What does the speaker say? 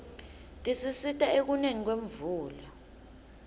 tisisita ekuneni kwemvula